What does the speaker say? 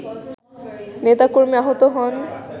নেতাকর্মী আহত হন